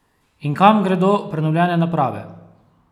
In kam gredo prenovljene naprave?